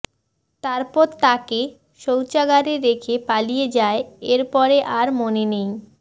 তারপর তাঁকে শৌচাগারে রেখে পালিয়ে যায় এরপরে আর মনে নেই